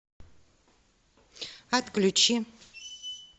отключи